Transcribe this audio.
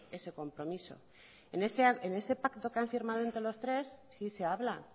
ese compromiso en ese pacto que han firmado entre los tres sí se habla